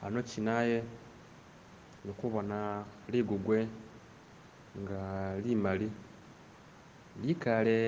hano kyina nikubona lugugwe nga limali likaale